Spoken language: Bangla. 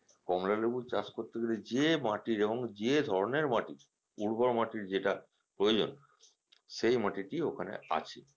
কমলা লেবু চাষ করতে গেলে যে মাটির এবং যে ধরনের মাটির উর্বর মাটির যেটা প্রয়োজন সেই মাটিটি ওখানে আছে